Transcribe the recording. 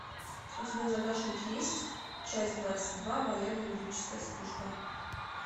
у тебя в загашнике есть часть двадцать два военно юридическая служба